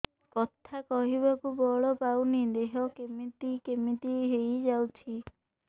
କଥା କହିବାକୁ ବଳ ପାଉନି ଦେହ କେମିତି କେମିତି ହେଇଯାଉଛି